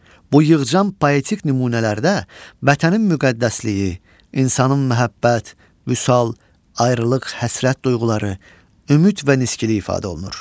Bu yığcam poetik nümunələrdə vətənin müqəddəsliyi, insanın məhəbbət, vüsal, ayrılıq, həsrət duyğuları, ümid və niskili ifadə olunur.